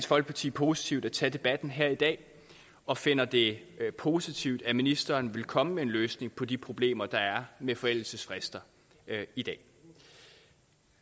folkeparti positivt at tage debatten her i dag og finder det positivt at ministeren vil komme med en løsning på de problemer der er med forældelsesfrister i dag